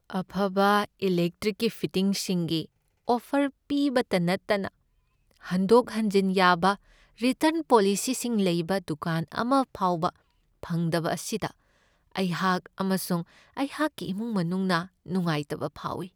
ꯑꯐꯕ ꯏꯂꯦꯛꯇ꯭ꯔꯤꯛꯀꯤ ꯐꯤꯇꯤꯡꯁꯤꯡꯒꯤ ꯑꯣꯐꯔ ꯄꯤꯕꯇ ꯅꯠꯇꯅ ꯍꯟꯗꯣꯛ ꯍꯟꯖꯤꯟ ꯌꯥꯕ ꯔꯤꯇꯔ꯭ꯟ ꯄꯣꯂꯤꯁꯤꯁꯤꯡ ꯂꯩꯕ ꯗꯨꯀꯥꯟ ꯑꯃ ꯐꯥꯎꯕ ꯐꯪꯗꯕ ꯑꯁꯤꯗ ꯑꯩꯍꯥꯛ ꯑꯃꯁꯨꯡ ꯑꯩꯍꯥꯛꯀꯤ ꯏꯃꯨꯡ ꯃꯅꯨꯡꯅ ꯅꯨꯡꯉꯥꯏꯇꯕ ꯐꯥꯎꯢ꯫